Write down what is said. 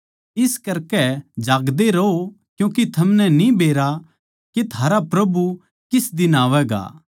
इस करकै जागदे रहो क्यूँके थमनै न्ही बेरा के थारा प्रभु किस दिन आवैगा